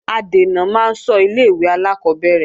Adènà máa ń ṣọ́ ilé-ìwé alákọ́bẹ̀rẹ̀